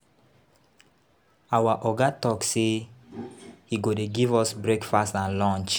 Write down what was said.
Our Oga talk say he go dey give us breakfast and lunch.